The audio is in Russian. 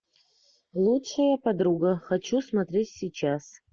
лучшая подруга хочу смотреть сейчас